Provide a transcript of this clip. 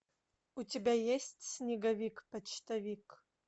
у тебя есть снеговик почтовик